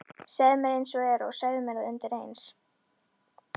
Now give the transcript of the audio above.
Segðu mér einsog er og segðu mér það undireins.